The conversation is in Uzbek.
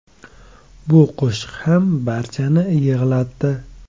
Bu qo‘shiq ham barchani yig‘latdi.